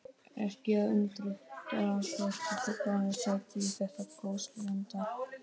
Ekki að undra þótt fuglarnir sæki í þetta gósenland.